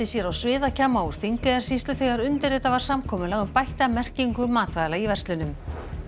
sér á sviðakjamma úr Þingeyjarsýslu þegar undirritað var samkomulag um bætta merkingu matvæla í verslunum